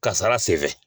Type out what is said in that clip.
Kasara sen fɛ